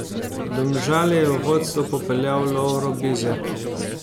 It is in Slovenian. Domžale je v vodsto popeljal Lovro Bizjak.